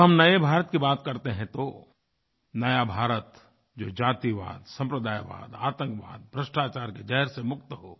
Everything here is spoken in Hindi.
जब हम नए भारत की बात करते हैं तो नया भारत जो ये जातिवाद साम्प्रदायवाद आतंकवाद भ्रष्टाचार के ज़हर से मुक्त हो